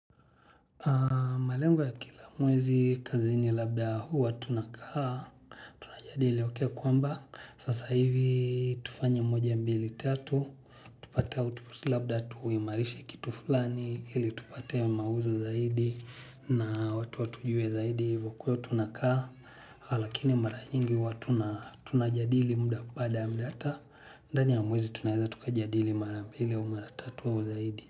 Malengo ya kila mwezi kazini labda huwa tunakaa tunajadiili kwamba sasa hivi tufanya mmoja mbili tatu. Tupate au labda tuimarishe kitu fulani ili tupate mauzo zaidi na watu watujue zaidi hivyo kwahiyo tunakaa. Ha lakini mara nyingi watu na tunajadili baada muda hata ndani ya mwezi tunaweza tukajadili mara mbili au mara tatu au zaidi.